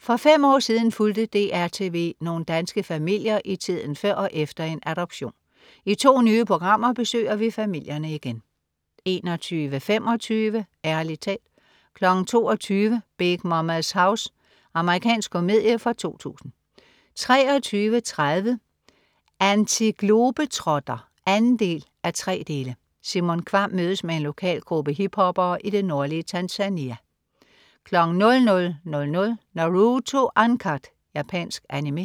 For fem år siden fulgte DR TV nogle danske familier i tiden før og efter en adoption. I to nye programmer besøger vi familierne igen 21.25 Ærlig talt 22.00 Big Momma's House. Amerikansk komedie fra 2000 23.30 Antiglobetrotter 2:3. Simon Kvamm mødes med en lokal gruppe hiphoppere i det nordlige Tanzania 00.00 Naruto Uncut. Japansk Animé